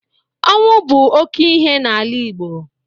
Ọnwụ bụ oke ihe n'ala Igbo.